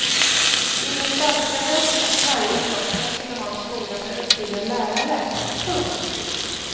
I den stadgades att varje socken skulle ha en skola med utbildad lärare. punkt